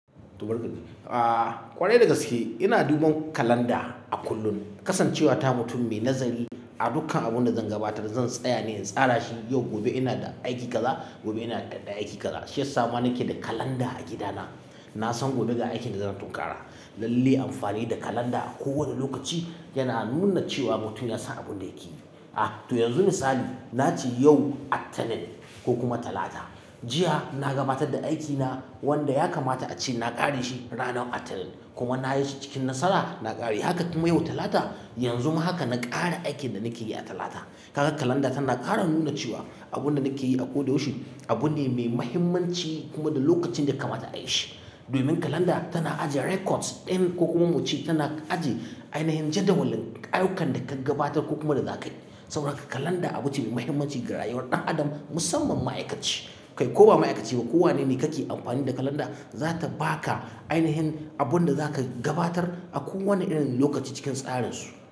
Aaa ƙwarai dagaske, ina duba kalanda a kullun. Kasancewa ta mutum mai nazari a dukan abun da zan gabatar, zan tsaya ne in tsara shi. Yau gobe ina da aiki kaza, gobe ina da aiki kaza. Shi ya sama nake da kalanda a gida na. Na san gobe ga aikin da zan tunkara. Lalle amfani da kalanda a kowani lokaci yana nuna cewa mutum yansan abin da yake yi. A to yanzu misali, nace yau litinin ko kuma Talata. Jiya na gabatar da aikina wanda ya kamata ace na ƙare shi ranar litinin kuma na yi shi cikin nasara na ƙare. Haka kuma yau Talata, yanzu ma haka na ƙare aikin da nake yi a Talata. Kaga kalanda tana ƙara nuna cewa abin da nake yi a ko da yaushe abu ne mai mahimmanci kuma da lokacin daya kamata a yi shi. Domin kalanda tana ajiye records din ko kuma muce tana ajiye ainihin jadawalin ayyukan da ka gabatar ko kuma da zakai. Saboda haka kalanda abu ce mai mahimmanci ga rayuwar ɗan adam musamman ma'aikaci. Kai ko ba ma'aikaci ba, kowane ne ka ke amfani da kalanda, za ta ba ka ainihin abin da za ka gabatar a kowani irin lokaci cikin tsarin su.